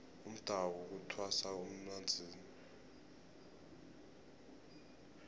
umdawu kuthwasa emanzini